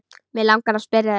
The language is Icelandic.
Mig langar að spyrja þig.